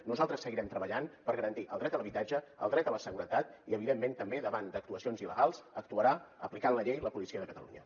nosaltres seguirem treballant per garantir el dret a l’habitatge el dret a la seguretat i evidentment també davant d’actuacions il·legals actuarà aplicant la llei la policia de catalunya